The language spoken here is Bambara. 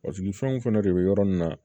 fɛnw fɛnɛ de bɛ yɔrɔ nin na